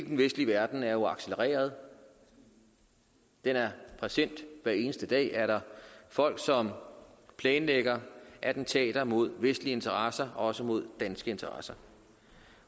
den vestlige verden er jo accelereret den er present hver eneste dag er der folk som planlægger attentater mod vestlige interesser også mod danske interesser